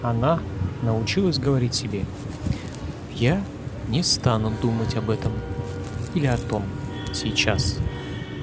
она научилась говорить себе я не стану думать об этом или о том сейчас